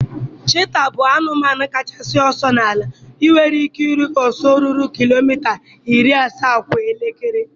Chita bụ anụmanụ kachasị ọsọ n'ala, nwere ike iru ọsọ ruru kilomita iri asaa kwa elekere